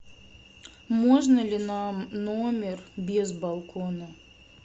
можно ли нам номер без балкона